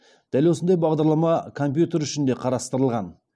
дәл осындай бағдарлама компьютер үшін де қарастырылған